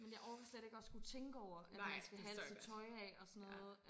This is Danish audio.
Men jeg orker slet ikke at skulle tænke over at man skal have alt sit tøj af og sådan noget